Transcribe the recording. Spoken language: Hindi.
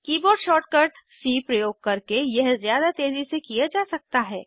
कीबोर्ड शॉर्टकट सी प्रयोग करके यह ज़्यादा तेज़ी से किया जा सकता है